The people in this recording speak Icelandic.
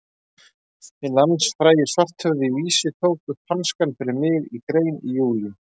Hinn landsfrægi Svarthöfði í Vísi tók upp hanskann fyrir mig í grein í júlí.